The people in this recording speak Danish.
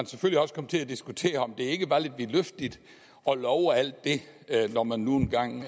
selvfølgelig også kom til at diskutere om det ikke var lidt vidtløftigt at love alt det når man nu engang